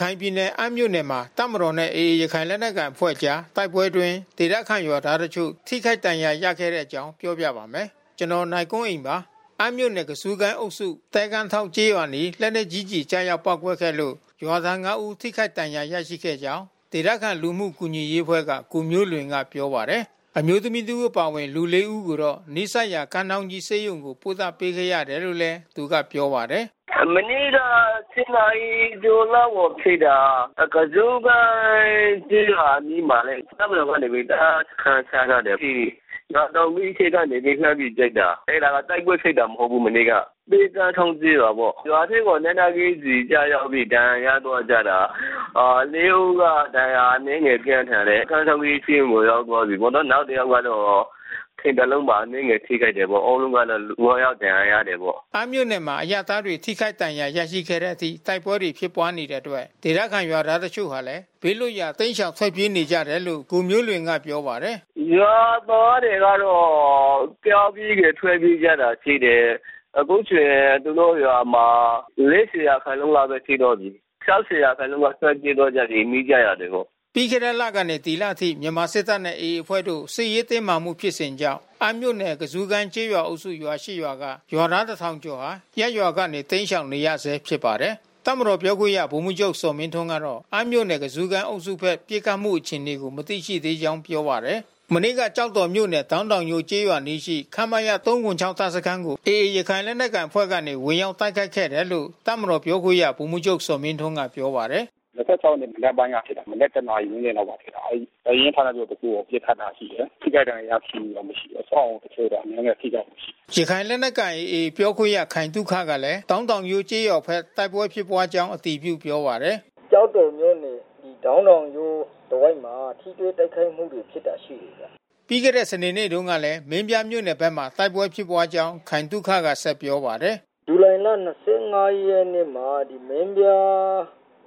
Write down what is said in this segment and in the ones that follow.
ခိုင်ပြည်နယ်၊ အမ်းမြို့နယ်မှာ တပ်မတော်နဲ့ AA ရခိုင်လက်နက်ကိုင်အဖွဲ့ကြား တိုက်ပွဲအတွင်း ဒေသခံရွာသားတချို့ ထိခိုက်ဒဏ်ရာရခဲ့တဲ့အကြောင်းကို ဗွီအိုအေမြန်မာပိုင်းသတင်းထောက် ကိုနိုင်ကွန်းအိန်က ပြောပြပေးပါမယ်။ အမ်းမြို့နယ် ကဇူးကိုင်အုပ်စု သဲကမ်းထောင့်ကျေးရွာအနီး လက်နက်ကြီးကျည် ကျရောက် ပေါက်ကွဲခဲ့လို့ ရွာသား ငါး ဦး ထိခိုက်ဒဏ်ရာရရှိခဲ့ကြောင်း ဒေသခံလူမှုကူညီရေးအဖွဲ့က ကိုမျိုးလွင်က ပြောပါတယ်။ အမျိုးသမီး တစ် ဦး အပါအဝင် လူ လေး ဦးကိုတော့ နီးစပ်ရာ ကမ်းထောင်းကြီး ဆေးရုံကို ပို့သပေးခဲ့ရတယ်လို့လည်း သူကပြောပါတယ်။ “မနေ့က ၁၀ နာရီကျော်လောက်မှာဖြစ်တာ။ ကဇူးကိုင်းကျေးရွာအနီးမှာလေ။ တပ်မတော်ကနေ တပ်စခန်းချထားတယ်။ အဲဒီရွာထောင်ကြီးထိပ်ကနေ လှမ်းပြီးပစ်တာ။ အဲဒါတိုက်ပွဲဖြစ်တာ မဟုတ်ဘူး မနေ့က။ သဲကမ်းထောင့် ကျေးရွာပေါ့။ ရွာထဲကို လက်နက်ကြီးကျည်ကျရောက်ပြီး ဒဏ်ရာရသွားကြတာ။ လေး ဦးက ဒဏ်ရာအနည်းငယ်ပြင်းထန်တယ်။ ကမ်းထောင်းကြီးဆေးရုံကို ရောက်သွားပြီ။ နောက်တယောက်ကတော့ ခြေသလုံးမှာ အနည်းငယ်ထိခိုက်တယ်ပေါ့။ အားလုံးကတော့ လူ ငါး ယောက်ဒဏ်ရာရတယ်ပေါ့။” အမ်းမြို့နယ်မှာ အရပ်သားတွေ ထိခိုက်ဒဏ်ရာရခဲ့တဲ့အထိ တိုက်ပွဲတွေ ဖြစ်ပွားနေတဲ့အတွက် ဒေသခံရွာသွားတချို့ဟာလည်း ဘေးလွတ်ရာ တိမ်းရှောင်ထွက်ပြေးနေကြတယ်လို့ ကိုမျိုးလွင်ကပြောပါတယ်။ “ရွာသားတွေကတော့ ကြောက်ပြီး ထွက်ပြေးကြတာရှိတယ်။ အခုဆိုရင်သူတို့ ရွာမှာ ၄၀ ရာခိုင်နှုန်းပဲ ရှိတော့ပြီး။ ၆၀ ရခိုင်နှုန်းက ထွက်ပြေးသွားကြပြီး နီးစပ်ရာတွေကို။” ပြီးခဲ့တဲ့လကနေ ဒီလအထိ မြန်မာစစ်တပ်နဲ့ AA အဖွဲ့တို့ စစ်ရေးတင်းမာမှုဖြစ်စဉ်ကြောင့်အမ်းမြို့နယ် ကဇူးကိုင်အုပ်စု ရွာ ၈ ရွာက ရွာသား ၁,၀၀၀ ကျော်ဟာ ရပ်ရွာကနေတိမ်းရှောင်နေရဆဲဖြစ်ပါတယ်။ တပ်မတော်ပြောခွင့်ရ ဗိုလ်မှူးချုပ် ဇော်မင်းထွန်းကတော့ အမ်းမြို့နယ် ကဇူးကိုင်အုပ်စုဖက် ပစ်ခတ်မှုအခြေအနေကို မသိရှိသေးကြောင်း ပြောပါတယ်။ မနေ့က ကျောက်တော်မြို့နယ် ဒေါင်းတောင်ယိုးကျေးရွာအနီးရှိ ခမရ ၃၇၆ တပ် စခန်းကို AA ရခိုင်လက်နက်ကိုင် အဖွဲ့ကနေ ဝင်ရောက်တိုက်ခိုက်ခဲ့တယ်လို့ တပ်မတော်ပြောခွင့်ရ ဗိုလ်မှူးချုပ်ဇော်မင်းထွန်းကပြောပါတယ်။ “၂၆ ရက်နေ့မနက်ပိုင်းကဖြစ်တာ။ မနက် ၁ နာရီဝန်းကျင်လောက်မှာဖြစ်တာ။ တပ်ရင်းဌာနချုပ်တခုကို ပစ်ခတ်တာရှိတယ်။ ထိခိုက်ဒဏ်ရာရရှိမှုတော့ မရှိဘူး။ အဆောက်အဦးတချို့တော့ အနည်းငယ်ထိခိုက်မှု ရှိတယ်။” ရခိုင်လက်နက်ကိုင် AA ပြောခွင့်ရခိုင်သုခကလည်း ဒေါင်းတောင်ယိုးကျေးရွာဘက်တိုက်ပွဲဖြစ်ပွါးကြောင်း အတည်ပြုပြောပါတယ်။ “ကျောက်တော်မြို့နယ် ဒေါင်းတောင်ယိုးတဝိုက်မှာ ထိတွေ့တိုက်ခိုက်မှုတွေဖြစ်တာ ရှိတယ်။” ပြီးခဲ့တဲ့ စနေနေ့မှာတုန်းကလည်း မင်းပြားမြို့နယ်ဘက်မှာ တိုက်ပွဲဖြစ်ပွါးကြောင်း ခိုင်သုခကဆက်ပြောပါတယ်။ “ဇူလိုင်လ ၂၅ ရက်နေ့မှာ မင်းပြား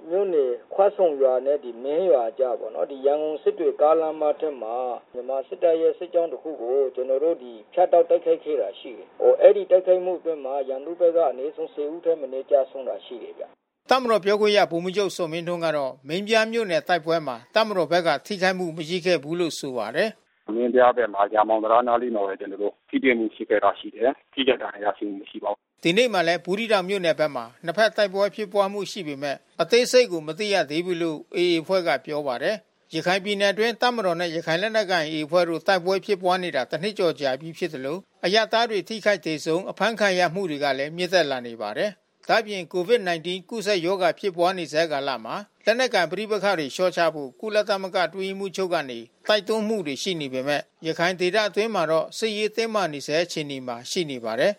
မြို့နယ်ခွဆုံရွာနဲ့ မင်းရွာအကြားပေါ့နော်။ ရန်ကုန်စစ်တွေကားလမ်းထက်မှာ မြန်မာစစ်တပ်ရဲ့ စစ်ကြောင်းတခုကို ကျနော်တို့ ဖြတ်တောက်တိုက်ခိုက်ခဲ့တာရှိတယ်။ အဲဒီတိုက်ခိုက်မှုအတွင်းမှာ ရန်သူဘက်က အနည်းဆုံး ၁၀ ဦးထက်မနည်းကျဆုံးတာရှိတယ်။” တပ်မတော်ပြောခွင့်ရ ဗိုလ်မှူးချုပ်ဇော်မင်းထွန်းကတော့ မင်းပြားမြို့နယ်တိုက်ပွဲမှာ တပ်မတော်ဘက်က ထိခိုက်မှု မရှိခဲ့ဘူးလို့ ဆိုပါတယ်။ “မင်းပြားဘက်မှာ ရာမောင်တံတားနားလေးမှာပဲ ကျနော်တို့ ထိတွေ့မှုဖြစ်ခဲ့တာရှိတယ်။ ထိခိုက်ဒဏ်ရာရရှိမှု မရှိပါဘူး။” ဒီနေ့မှာလည်း ဘူးသီးတောင်မြို့နယ်ဘက်မှာ နှစ်ဘက်တိုက်ပွဲဖြစ်ပွါးမှု ရှိနေပေမဲ့ အသေးစိပ်ကို မသိရသေးဘူးလို့ AA အဖွဲ့ကပြောပါတယ်။ ရခိုင်ပြည်နယ်အတွင်း တပ်မတော်နဲ့ ရခိုင်လက်နက်ကိုင် AA အဖွဲ့တို့ တိုက်ပွဲဖြစ်ပွားနေတာ တနှစ်ကျော်ပြီးဖြစ်သလို တိုက်ပွဲအကျိုးဆက်ကြောင့် အရပ်သားတွေထိခိုက်၊ သေဆုံး၊ ဖမ်းဆီးခံရမှုတွေကလည်း မြင့်တက်လာနေပါတယ်။ ဒါ့အပြင် COVID-19 ကူးစက်ရောဂါဖြစ်ပွါးနေဆဲကာလမှာ လက်နက်ကိုင်ပဋိပက္ခတွေလျှော့ချဖို့ ကုလသမဂ္ဂအတွင်းရေးမှူးချုပ်ကနေ တိုက်တွန်းမှုတွေ ရှိနေပေမဲ့ ရခိုင်ဒေသအတွင်းမှာတော့ စစ်ရေးတင်းမာနေဆဲအခြေအနေမှာ ရှိနေပါတယ်